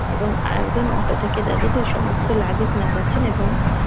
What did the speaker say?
এবং আর একজন অটো থেকে যাত্রীদের সমস্ত লাগেজ নামাচ্ছেন এবং --